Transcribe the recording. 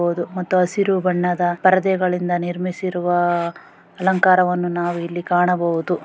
ಹೌದು ಮತ್ತು ಹಸಿರು ಬಣ್ಣದ ಪರದೆಗಳಿಂದ ನಿರ್ಮಿಸಿರುವ ಅಲಂಕಾರವನ್ನು ನಾವು ಇಲ್ಲಿ ಕಾಣಬಹುದು .